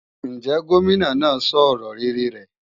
Ǹjẹ́ Gómìnà náà sọ ọ̀rọ̀ rere rẹ̀?